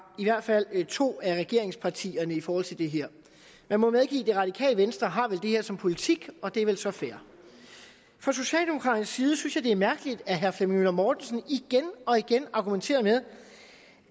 i hvert fald to af regeringspartierne i forhold til det her man må medgive at radikale venstre har det her som politik og det er vel så fair fra socialdemokraternes side synes jeg det er mærkeligt at herre flemming møller mortensen igen og igen argumenterer med